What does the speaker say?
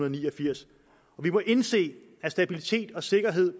ni og firs vi må indse at stabilitet og sikkerhed